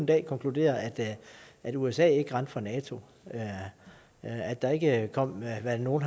kan konkludere at usa ikke rendte fra nato at der ikke kom hvad nogle